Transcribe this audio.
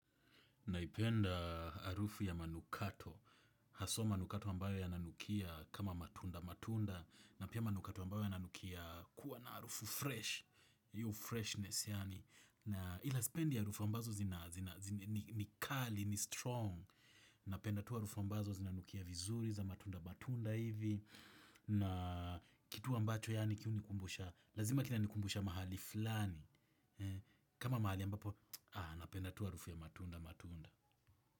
Naipenda harufu ya manukato, haswa manukato ambayo yananukia kama matunda matunda, na pia manukato ambayo yananukia kuwa na harufu fresh, hiyo freshness yaani. Na ila sipendi harufu ambazo ni kali, ni strong. Napenda tu harufu ambazo zinanukia vizuri za matunda matunda hivi. Na kitu ambacho yaani ki hunikumbusha lazima kinanikumbusha mahali fulani. Kama mahali ambapo napenda tu harufu ya matunda matunda.